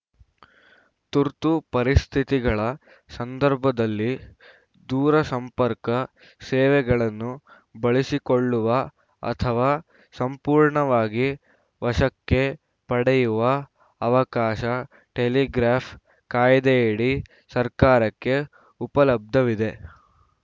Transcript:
ತುರ್ತು ಪರಿಸ್ಥಿತಿಗಳ ಸಂದರ್ಭದಲ್ಲಿ ದೂರಸಂಪರ್ಕ ಸೇವೆಗಳನ್ನು ಬಳಸಿಕೊಳ್ಳುವ ಅಥವಾ ಸಂಪೂರ್ಣವಾಗಿ ವಶಕ್ಕೆ ಪಡೆಯುವ ಅವಕಾಶ ಟೆಲಿಗ್ರಾಫ್‌ ಕಾಯ್ದೆಯಡಿ ಸರ್ಕಾರಕ್ಕೆ ಉಪಲಬ್ಧವಿದೆ